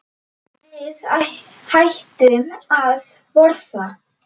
Við hættum að borða.